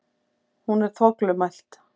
Hún er þvoglumælt.